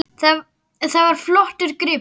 Það var flottur gripur.